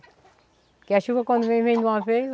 Porque a chuva quando vem, vem de uma vez.